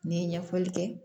N'i ye ɲɛfɔli kɛ